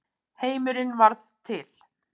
Heimurinn varð til.